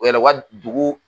U wɛlɛ u ka dugu